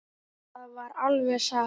Það er alveg satt.